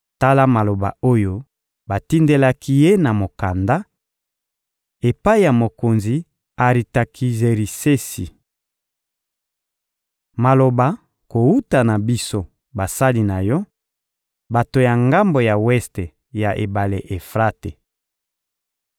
Tala maloba oyo batindelaki ye na mokanda: «Epai ya mokonzi Aritakizerisesi. Maloba kowuta na biso basali na yo, bato ya ngambo ya weste ya ebale Efrate.